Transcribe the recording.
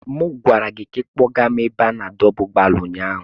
M gwara gị ka kpọga m n'ebe a na-adọba ụgbọala ụnyaahụ.